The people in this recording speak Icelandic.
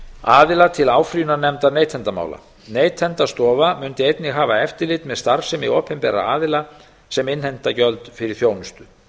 aðila til áfrýjunarnefndar neytendamála neytendastofa mundi einnig hafa eftirlit með starfsemi opinberra aðila sem innheimta gjöld fyrir þjónustu